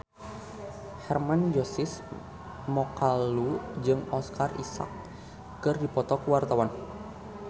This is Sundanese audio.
Hermann Josis Mokalu jeung Oscar Isaac keur dipoto ku wartawan